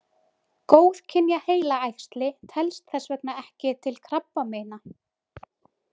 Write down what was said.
Góðkynja heilaæxli telst þess vegna ekki til krabbameina.